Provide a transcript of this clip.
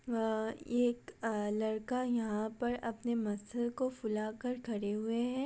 अ ये एक अ लड़का यहाँ पर अपने मसल्स को फुला कर खड़े हुए है।